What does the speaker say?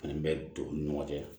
Ani bɛ don u ni ɲɔgɔn cɛ